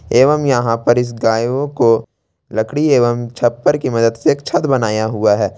एवम् यहां पर इस गायों को लकड़ी एवं छप्पर की मदद से एक छत बनाया हुआ है।